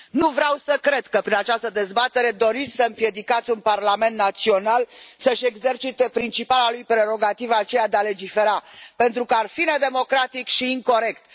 Nu vreau să cred că, prin această dezbatere, doriți să împiedicați un parlament național să și exercite principala lui prerogativă, aceea de a legifera, pentru că ar fi nedemocratic și incorect.